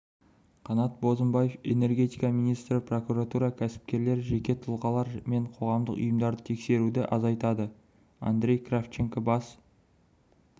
қанат бозымбаев энергетика министрі прокуратура кәсіпкерлер жеке тұлғалар мен қоғамдық ұйымдарды тексеруді азайтады андрей кравченко бас